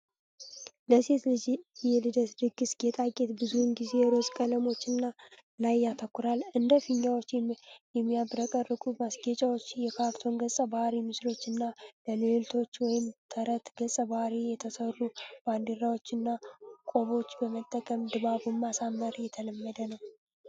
ለሴት ልጅ የልደት ድግስ ጌጣጌጥ፣ ብዙውን ጊዜ ሮዝ ቀለሞች ላይ ያተኩራል። እንደ ፊኛዎች፣ የሚያብረቀርቁ ማስጌጫዎች፣ የካርቱን ገጸ-ባህሪያት ምስሎች እና ለልዕልቶች ወይም ተረት ገጸ-ባህሪያት የተሰሩ ባንዲራዎችና ቆቦች በመጠቀም ድባቡን ማሳመር የተለመደ ነው።